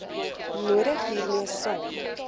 nodig hiermee saam